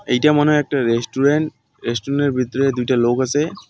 এইটা মনে হয় একটা রেস্টুরেন্ট রেস্টুনের ভেতরে দুইটা লোক আছে .